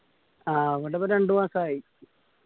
ആകകൊണ്ട് ഇപ്പോ രണ്ട് മാസായി